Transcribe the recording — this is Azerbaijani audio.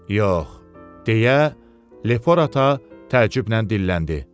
Yox, deyə Lefora təəccüblə dilləndi.